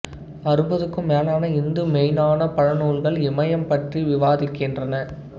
அறுபதுக்கும் மேலான இந்து மெய்ஞ்ஞானப் பழநூல்கள் இயமம் பற்றி விவாதிக்கின்றன